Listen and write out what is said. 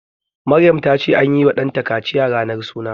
Maryam ta ce anyi wa ɗanta kaciya ranar suna